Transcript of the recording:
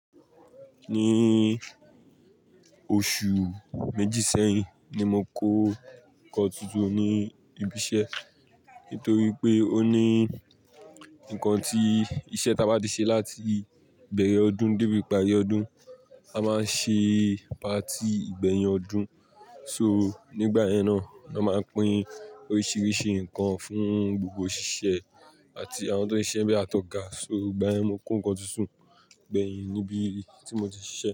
Ní oṣù méjì sẹ́yìn ni mo kó nǹkan tuntun ní ibi iṣẹ́ nítorí pé ó ní ǹkan tí iṣẹ́ táa bá ti ṣe láti ìbẹ̀rẹ̀ ọdún débi ìparí ọdún, a máa ń ṣe patí ìgbẹ̀yìn ọdún. So, nígbà yẹn náà ni wọ́n máa ń pín oríṣiríṣi nǹkan fún gbogbo òṣìṣẹ́ àti àwọn tó n ṣiṣẹ́ n bé àtọ̀ga. So, ìgbà yẹn ni mi kó nǹkan tuntun gbẹ̀yìn níbi tí mo ti ṣiṣẹ́